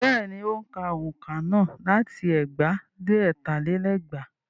Bẹ́ẹ̀ni, ó ń ka òǹkà náà láti ẹgbàá dé ọ̀tà lé lẹ́gbàá.